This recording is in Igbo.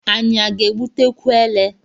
Anyị a ga-egbutekwu elé?